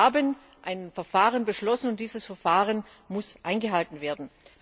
Wir haben ein Verfahren beschlossen, und dieses Verfahren muss eingehalten werden!